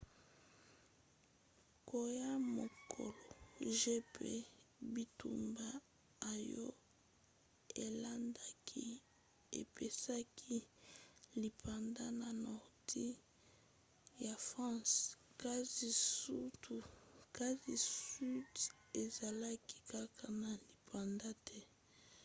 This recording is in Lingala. koya ya mokolo j mpe bitumba oyo elandaki epesaki lipanda na nordi ya france kasi sudi ezalaki kaka na lipanda te